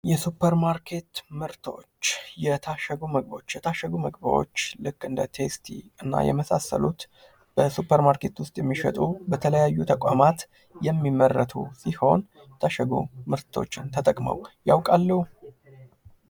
የሱፐር ማርኬት ምርቶች የታሸጉ ምግቦች የታሸጉ ምግቦች ልክ እንደነ ቴስቲ እና የመሳሰሉት በሱፐርማርኬት ውስጥ የሚሸጡ በተለያዩ ተቋማት የሚመረቱ ሲሆን የታሸጉ ምርቶችን ተጠቅመው ያውቃሉ?